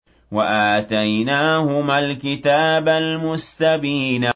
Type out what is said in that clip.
وَآتَيْنَاهُمَا الْكِتَابَ الْمُسْتَبِينَ